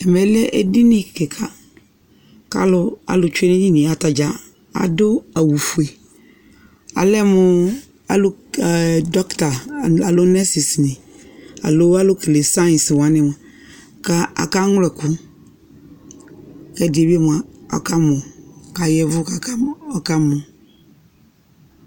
Ɛmɛ lɛ edini kika, k'alʋ tsue n'edinie , atadza adʋ awʋfue Alɛ mʋ'ʋ alʋ ke ɛ dɔkita alo nosis nɩ alo alʋ kele 'săyɩs waanɩ mʋa, ka akaŋlɔ ɛkʋ ɛdɩnɩ mʋa akamɔ ay'ɛvʋ kakamɔ